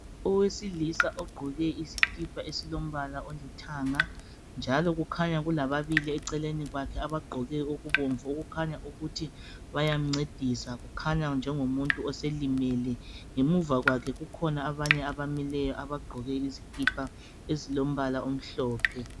Owesilisa ogqoke isikipa esilombala olithanga njalo kukhanya kulababili eceleni kwakhe abagqoke okubomvu okukhanya ukuthi bayamncedisa kukhanya njengomuntu oselimele ngemuva kwakhe kukhona abanye abamileyo abagqoke izikipa ezilombala. omhlophe